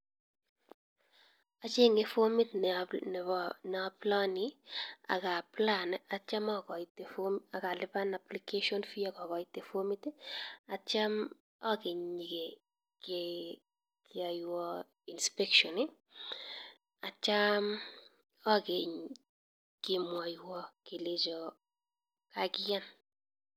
Acheng'e fomit ne a apply atiem akoite fomit akalipan application fee .